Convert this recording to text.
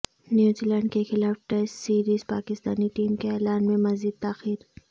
New Zealand کے خلاف test series Pakistani team کے اعلان میں مزید تاخیر